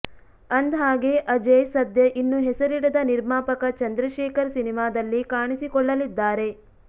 ಅಂದ್ಹಾಗೆ ಅಜೇಯ್ ಸದ್ಯ ಇನ್ನು ಹೆಸರಿಡದ ನಿರ್ಮಾಪಕ ಚಂದ್ರಶೇಖರ್ ಸಿನಿಮಾದಲ್ಲಿ ಕಾಣಿಸಿಕೊಳ್ಳಲಿದ್ದಾರೆ